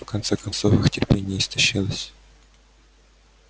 в конце концов их терпение истощилось